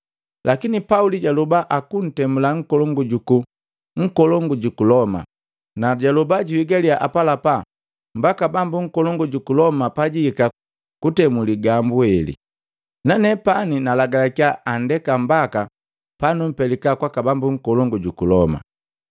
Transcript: Lakini Pauli jaloba akuntemula nkolongu juku Loma, najaloba juhigaliya apalapa mbaka bambu nkolongu juku Loma pajihika kutemu ligambu heli. Nanepani nalagalakiya andeka mbaka panupelika kwaka bambu nkolongu juku Loma.”